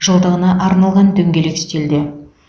жылдығына арналған дөңгелек үстелде